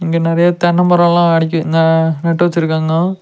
இங்க நறைய தென்ன மரோல்லா அடக்கி ந நட்டு வச்சிருக்காங்கோ.